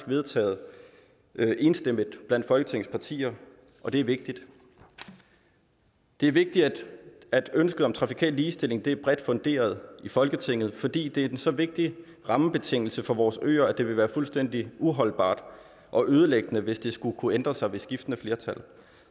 vedtaget enstemmigt blandt folketingets partier og det er vigtigt det er vigtigt at ønsket om trafikal ligestilling er bredt funderet i folketinget fordi det er en så vigtig rammebetingelse for vores øer at det vil være fuldstændig uholdbart og ødelæggende hvis det skulle kunne ændres ved skiftende flertal